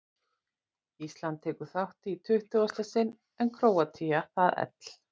Ísland tekur þátt í tuttugasta sinn en Króatía í það ell